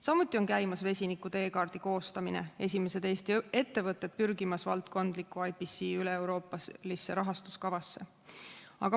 Samuti on käimas vesiniku teekaardi koostamine, esimesed Eesti ettevõtted on pürgimas valdkondlikku IBC üleeuroopalisse rahastuskavasse.